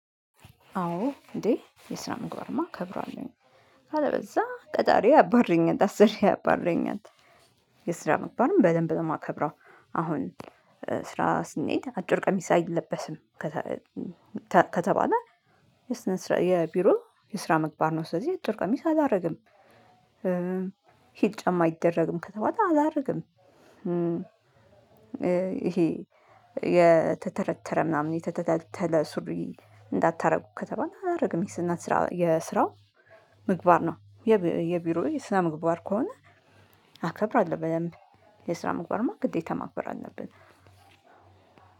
አዎ እንዴ የስራ ምግባርማ እከብራለሁኝ ካለበለዛ ቀጣሪዬ ያባረኛል አሰሪዬ ያባረኛል። የስራ ምግባርን በደንብ ነው የማከብረው። አሁን ስራ ስንሄድ አጭር ቀሚስ አይለበስም። ከተባለ የስነ ስር የቢሮ የስራ ምግባር ነው ስለዚህ አጥር ቀሚስ አላደርግም። ሂል ጫማ አይደረግም ከተባለ አላደርግም። ይሄ የተተረተረ ምናምን የተተለተለ ሱሪ እንዳታደርጉ ከተባለ አላደርግም። የስነ እና የስራው ምግባር ነው። የቢሮዬ የስራ ምግባር ከሆነ አከብራለሁ በደንብ። የስራ ምግባርማ ግዴታ ማክበር አለብን።